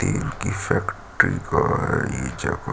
tin की factory का है ये जगह--